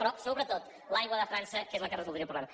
però sobretot l’aigua de frança que és la que resoldria el problema